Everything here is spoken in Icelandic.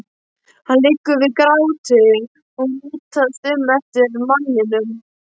Henni liggur við gráti og hún litast um eftir manninum.